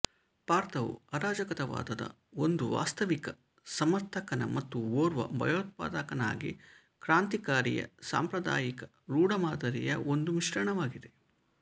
ಪಾತ್ರವು ಅರಾಜಕತಾವಾದದ ಒಂದು ವಾಸ್ತವಿಕ ಸಮರ್ಥಕನ ಮತ್ತು ಓರ್ವ ಭಯೋತ್ಪಾದಕನಾಗಿ ಕ್ರಾಂತಿಕಾರಿಯ ಸಾಂಪ್ರದಾಯಿಕ ರೂಢಮಾದರಿಯ ಒಂದು ಮಿಶ್ರಣವಾಗಿದೆ